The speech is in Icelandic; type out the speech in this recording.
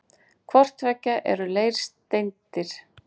Hvort tveggja eru leirsteindir.